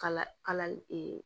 Kala kalali